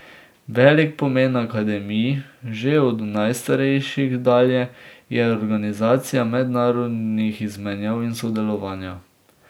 Velik pomen akademij, že od najstarejših dalje, je organizacija mednarodnih izmenjav in sodelovanja.